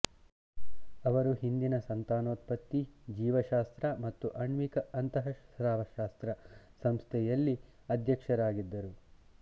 ಅವರು ಹಿಂದಿನ ಸಂತಾನೋತ್ಪತ್ತಿ ಜೀವಶಾಸ್ತ್ರ ಮತ್ತು ಆಣ್ವಿಕ ಅಂತಃಸ್ರಾವಶಾಸ್ತ್ರ ಸಂಸ್ಥೆಯಲ್ಲಿ ಅಧ್ಯಕ್ಷರಾಗಿದ್ದರು